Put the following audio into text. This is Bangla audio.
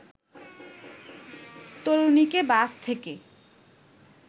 তরুণীকে বাস থেকে